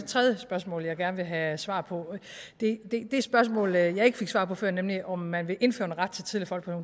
tredje spørgsmål jeg gerne vil have svar på det spørgsmål jeg ikke fik svar på før nemlig om man vil indføre en ret til tidlig